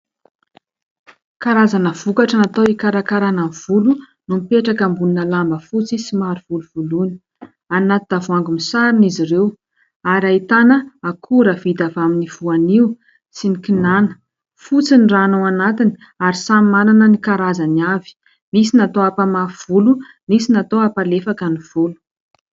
Karazana vokatra atao hikarakarana volo no mipetraka ambonina latabatra fotsy somary volovoloana. Anaty tavoangy misarona izy ireo ary ahitana akora vita avy amin'ny voanio sy ny kinàna. Fotsy ny rano ao anatiny ary samy manana ny karazany avy, nisy natao ampamafy volo, nisy natao ampalefaka ny volo.